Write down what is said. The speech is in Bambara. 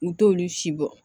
U t'olu si bɔ